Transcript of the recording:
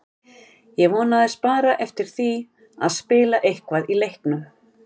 Ég vonaðist bara eftir því að spila eitthvað í leiknum.